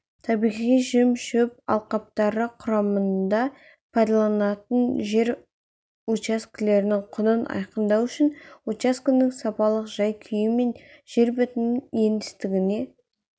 табиғи жем-шөп алқаптары құрамында пайдаланылатын жер учаскелерінің құнын айқындау үшін учаскенің сапалық жай-күйі мен жер бетінің еңістігіне